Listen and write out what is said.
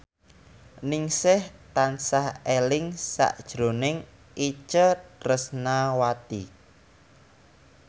Ningsih tansah eling sakjroning Itje Tresnawati